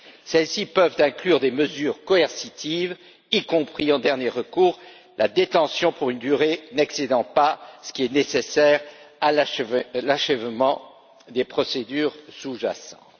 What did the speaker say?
Celles ci peuvent inclure des mesures coercitives, y compris, en dernier recours, la détention pour une durée n'excédant pas ce qui est nécessaire à l'achèvement des procédures sous jacentes.